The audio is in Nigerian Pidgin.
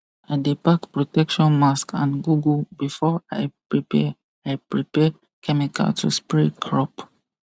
i dey pack protection mask and goggle before i prepare i prepare chemical to spray crop